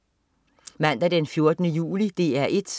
Mandag den 14. juli - DR 1: